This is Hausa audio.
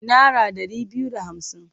Nara ɗari biyu da hamsin.